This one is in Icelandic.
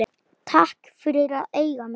Takk fyrir að eiga mig.